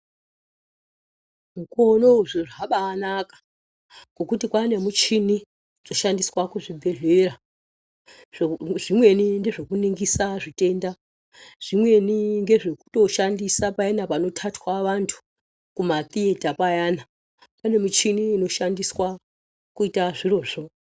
Mukore unowu zviro zvabanaka ngekuti kwane muchini inoshandiswa muzvibhedhlera zvimweni ndezvekuningisa zvitenda zvimweni ndezvekushandisa pamweni payani panotatwa vantu kumathiyeta payani pane michini inoshandiswa nazvo.